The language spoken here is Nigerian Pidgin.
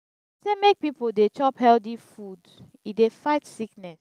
dem sey make pipo dey chop healthy food e dey fight sickness.